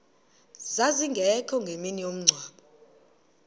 zazingekho ngemini yomngcwabo